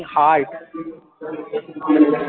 heart